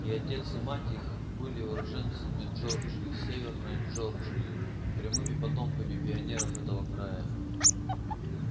и отец и мать их были уроженцами джорджии северной джорджии прямыми потомками пионеров этого края